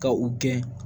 Ka u gɛn